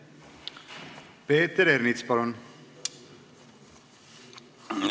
Peeter Ernits, palun!